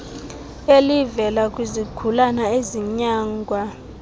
elivela kwizigulane ezinyangwa